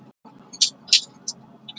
Hvernig fer sú vinna fram?